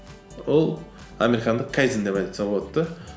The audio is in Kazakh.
ол американдық кайдзен деп айтса болады да